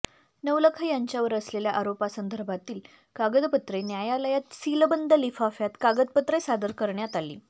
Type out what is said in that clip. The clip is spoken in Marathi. नवलखा यांच्यावर असलेल्या आरोपांसदर्भातील कागदपत्रे न्यायालयात सीलबंद लिफाफ्यात कागदपत्रे सादर करण्यात आली